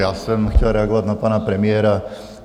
Já jsem chtěl reagovat na pana premiéra.